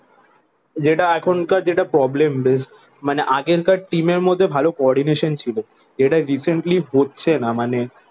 যেটা এখনকার যেটা problem best মানে আগেরকার টিমের মধ্যে ভালো কোঅর্ডিনেশন ছিল যেটা রিসেন্টলি হচ্ছে না। মানে